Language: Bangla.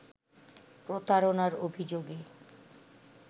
প্রতারণার অভিযোগে